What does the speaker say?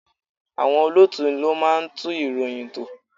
Àwọn olóòtú ló máa ń tún ìròyìn tò.